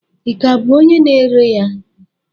Ị ka bụ onye na-ere ya?